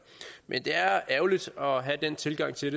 men det er ærgerligt at have den tilgang til